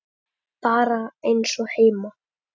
Bara eins og heima.